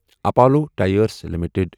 Apollo tyres limited